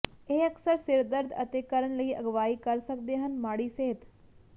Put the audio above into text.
ਇਹ ਅਕਸਰ ਸਿਰਦਰਦ ਅਤੇ ਕਰਨ ਲਈ ਅਗਵਾਈ ਕਰ ਸਕਦੇ ਹਨ ਮਾੜੀ ਸਿਹਤ